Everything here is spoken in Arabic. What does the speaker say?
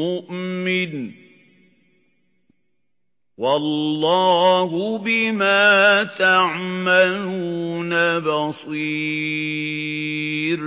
مُّؤْمِنٌ ۚ وَاللَّهُ بِمَا تَعْمَلُونَ بَصِيرٌ